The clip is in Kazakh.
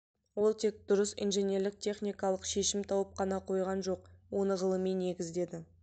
ол тек дұрыс инженерлік-техникалық шешім тауып қана қойған жоқ оны ғылыми негіздеді